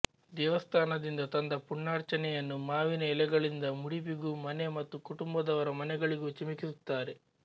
ದೇವಸ್ಥಾನದಿಂದ ತಂದ ಪುಣ್ಯಾರ್ಚನೆಯನ್ನು ಮಾವಿನ ಎಲೆಗಳಿಂದ ಮುಡಿಪಿಗೂ ಮನೆ ಮತ್ತು ಕುಟುಂಬದವರ ಮನೆಯಗಳಿಗೂ ಚಿಮುಕಿಸುತ್ತಾರೆ